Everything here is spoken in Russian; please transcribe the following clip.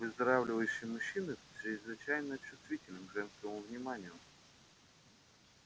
выздоравливающие мужчины чрезвычайно чувствительны к женскому вниманию